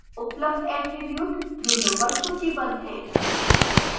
उपलब्ध attributes window पर सूचीबद्ध हैं